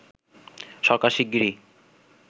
সরকার শিগগিরই